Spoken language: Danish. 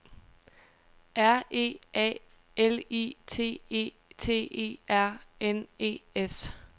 R E A L I T E T E R N E S